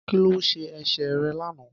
Kí ló ṣe ẹsẹ̀ rẹ̀ lánàá.